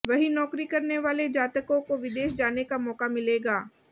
वहीं नौकरी करने वाले जातकों को विदेश जाने का मौका मिलेगा